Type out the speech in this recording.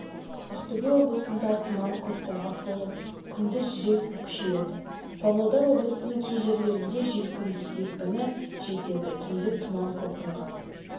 ақтөбе облысында тұман көктайғақ болып күндіз жел с-қа күшейеді павлодар облысының кей жерлерінде жел күндіз екпіні с-қа жетеді түнде тұман көктайғақ